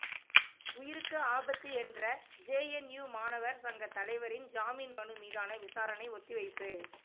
உயிருக்கு ஆபத்து என்ற ஜேஎன்யூ மாணவர் சங்க தலைவரின் ஜாமீன் மனு மீதான விசாரணை ஒத்திவைப்பு